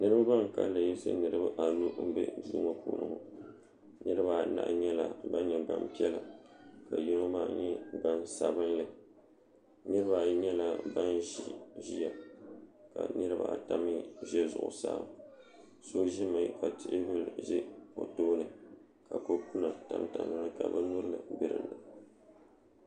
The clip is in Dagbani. niraba ban kanli yiɣisi niraba anu n bɛ duu ŋo puuni ŋo niraba anahi nyɛla ban nyɛ gbanpiɛla ka yino maa nyɛ gbansabinli niraba ayi nyɛla ban ʒi ʒiya ka niraba ata mii ʒɛ zuɣusaa so ʒimi ka teebuli ʒɛ o tooni ka kopu nim tam dizuɣu ka bin nyura bɛ di puuni